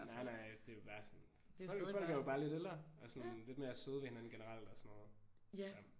Nej nej. Det er jo bare sådan folk er folk er jo bare lidt ældre og sådan lidt mere søde ved hinanden generelt og sådan noget så